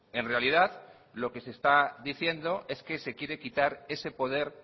en realidad lo que se está diciendo es que se quiere quitar ese poder